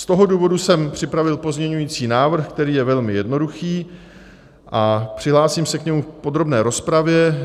Z toho důvodu jsem připravil pozměňovací návrh, který je velmi jednoduchý, a přihlásím se k němu v podrobné rozpravě.